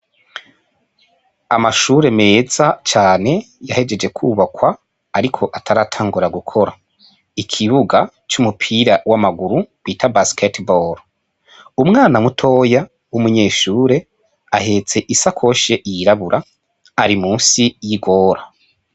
Amashure meza cane yahejeje kubakwa ariko ataratangura gukora, ikibuga c'umupira w'amaguru bita basekete boro, umwana mutoya w'umunyeshure ahetse isakoshi y'irabura ari musi y'igora.